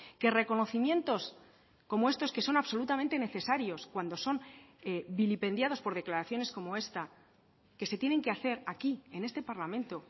que reconocimientos como estos que son absolutamente necesarios cuando son vilipendiados por declaraciones como esta que se tienen que hacer aquí en este parlamento